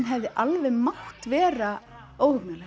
hefði alveg mátt vera